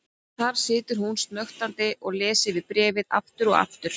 Þar situr hún snöktandi og les yfir bréfið aftur og aftur.